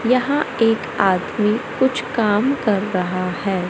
यहां एक आदमी कुछ काम कर रहा है।